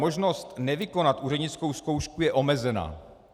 Možnost nevykonat úřednickou zkoušku je omezena.